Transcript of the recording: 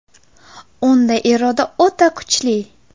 Unda iroda o‘ta kuchli.